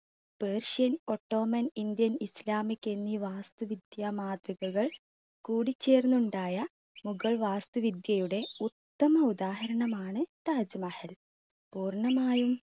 persian, ottoman, indian, islamic എന്നീ വാസ്തുവിദ്യ മാതൃകകൾ കൂടിച്ചേർന്നുണ്ടായ മുഗൾ വാസ്തുവിദ്യയുടെ ഉത്തമ ഉദാഹരണമാണ് താജ് മഹൽ. പൂർണ്ണമായും